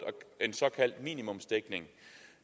en såkaldt minimumsdækning